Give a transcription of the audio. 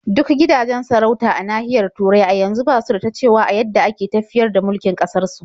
Duk gidajen sarauta a nahiyar Turai a yanzu ba su da ta cewa a yadda ake tafiyar da mulkin ƙasarsu.